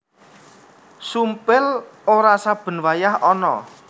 Sumpil ora saben wayah ana